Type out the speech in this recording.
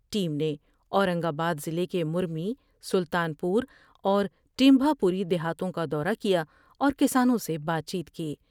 Team نے Aurangabad ضلع کے مری سلطان پور اورٹیمھا پوری دیہاتوں کا دورہ کیا اور کسانوں سے بات چیت کی۔